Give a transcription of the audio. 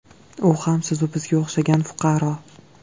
U ham sizu bizga o‘xshagan fuqaro.